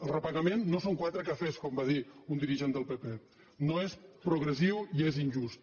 el repagament no són quatre cafès com va dir un dirigent del pp no és progressiu i és injust